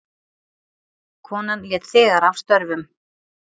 Konan lét þegar af störfum.